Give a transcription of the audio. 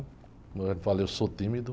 Como eu já falei, eu sou tímido.